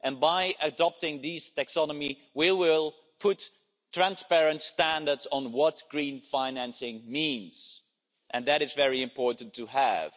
By adopting this taxonomy, we will put transparent standards on what green financing means, and that is very important to have.